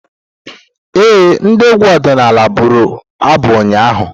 Ee, ndị egwu ọdịnala buru abụ ụnyaahụ.